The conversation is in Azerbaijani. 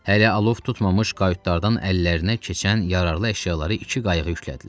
Hələ alov tutmamış qayutlardan əllərinə keçən yararlı əşyaları iki qayıqa yüklədilər.